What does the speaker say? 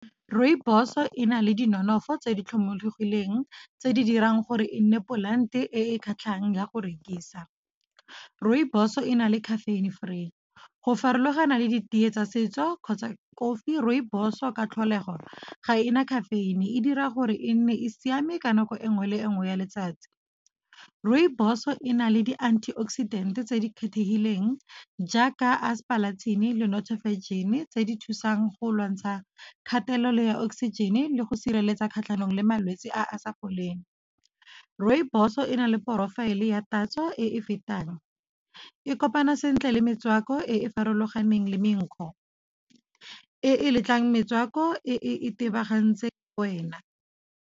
Rooibos e na le di nonofo tse di tlhomologileng, tse di dirang gore e nne polante e kgatlhang ya go rekisa. Rooibos e na le caffeine free, go farologana le ditee tsa setso kgotsa kofi. Rooibos-o ka tlholego ga ena caffeine, e dira gore e nne e siame ka nako enngwe le enngwe ya letsatsi. Rooibos-o e na le di antioxidant tse di kgethegileng jaaka aspalathin le nothofagin tse di thusang go lwantsha kgatelelo ya oxygen le go sireletsa kgatlhanong le malwetse a a sa foleng. Rooibos e na le profile ya tatso e e fetang, e kopana sentle le metswako e e farologaneng le menkgo, e letlang metswako e e itebagantseng wena.